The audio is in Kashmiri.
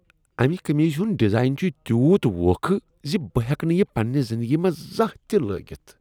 امہ قمیٖضہ ہنٛد ڈیزاین چھ تیوٗت ووکھٕ ز بہٕ ہیکہٕ نہٕ یہ پنٛنہ زندگی منٛز زانٛہہ تہ لٲگتھ۔